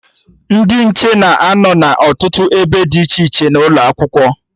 Ndị nche na-anọ n'ọtụtụ ebe dị iche iche n'ụlọ Akwụkwọ